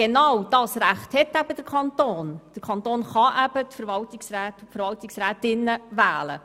Aber der Kanton kann die Verwaltungsräte und Verwaltungsrätinnen wählen.